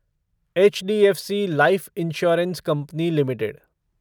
HDFC Life Insurance Company limited